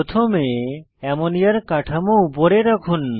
প্রথমে অ্যামোনিয়ার কাঠামো উপরে রাখুন